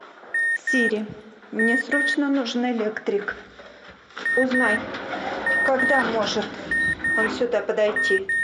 сири мне срочно нужен электрик узнай когда сможет он сюда подойти